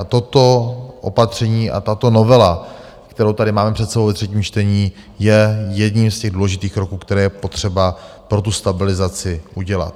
A toto opatření a tato novela, kterou tady máme před sebou ve třetím čtení, je jedním z těch důležitých kroků, které je potřeba pro tu stabilizaci udělat.